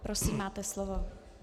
Prosím, máte slovo.